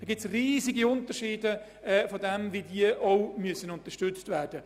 Es gibt riesige Unterschiede, was diesen Unterstützungsbedarf betrifft.